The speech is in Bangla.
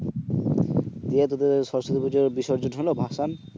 দিয়ে তোদের সরস্বতী পূজার বিসর্জন হল ভাসান?